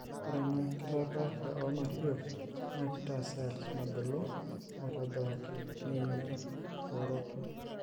ore ena kitapaasha oo materials naa kitaa cells mebulu aitobiraki neingial eoroto.